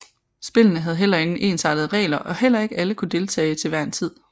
Spillene havde heller ingen ensartede regler og heller ikke alle kunne deltage til hver en tid